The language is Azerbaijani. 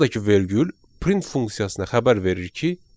Buradakı vergül print funksiyasına xəbər verir ki,